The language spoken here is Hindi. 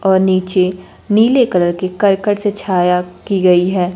और नीचे नीले कलर के करकट से छाया की गई है।